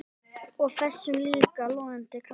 Og þessum líka logandi krafti.